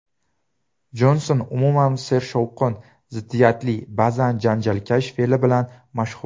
Jonson umuman sershovqin, ziddiyatli, ba’zan janjalkash fe’li bilan mashhur.